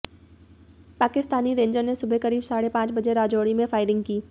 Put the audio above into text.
Pakistani rangers ने सुबह करीब साढ़े पांच बजे राजौरी में फायरिंग की